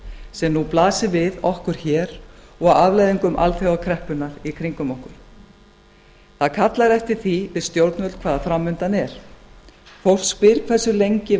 sem nú blasir við okkur hér og afleiðingum alþjóðakreppunnar í kringum okkur það kallar eftir því við stjórnvöld hvað framundan er fólk spyr hversu lengi